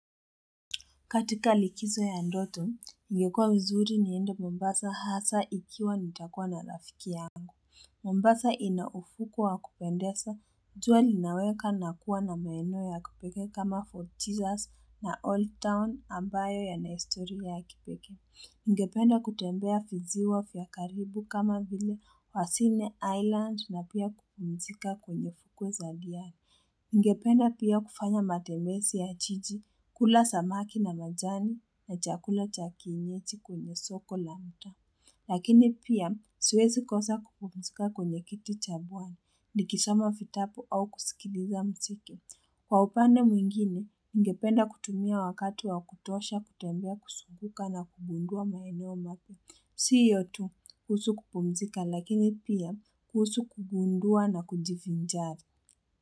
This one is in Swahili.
Katika likizo ya ndoto, ningekwa uzuri niende Mombasa hasa ikiwa nitakuwa na rafiki yangu. Mombasa inaufukwe wa kupendeza, jua linaweka nakuwa na maeno ya kupeke kama Fort jesus na Old Town ambayo ya na histori ya ya kipekee. Ningependa kutembea visiwa vya karibu kama vile wasine island na pia kupumzika kwenye fukwe za liari. Ningependa pia kufanya matembezi ya jiji, kula samaki na majani, na chakula cha kienyejii kwenye soko lake. Lakini pia, swezi kosa kupumzika kwenye kiti cha pwani, likisoma fitapu au kusikiliza msiki. Kwa upande mwingine, ningependa kutumia wakati wa kutosha kutembea kuzunguka na kugundua maeneo mapya. Si yotu kuhusu kupumzika, lakini pia kuhusu kugundua na kujivi njari.